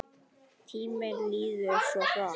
Tíminn líður svo hratt!